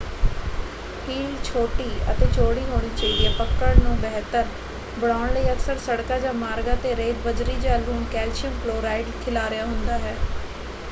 Heel ਛੋਟੀ ਅਤੇ ਚੌੜੀ ਹੋਣੀ ਚਾਹੀਦੀ ਹੈ। ਪਕੜ ਨੂੰ ਬਹਿਤਰ ਬਣਾਉਣ ਲਈ ਅਕਸਰ ਸੜਕਾਂ ਜਾਂ ਮਾਰਗਾਂ 'ਤੇ ਰੇਤ ਬਜਰੀ ਜਾਂ ਲੂਣ ਕੈਲਸ਼ੀਅਮ ਕਲੋਰਾਈਡ ਖਿਲਾਰਿਆ ਹੁੰਦਾ ਹੈ।